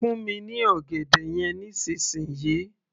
fún mi ní ọ̀gẹ̀dẹ̀ yẹn nísìnsisìyí